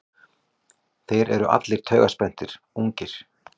Þeir eru allir taugaspenntir, ungir.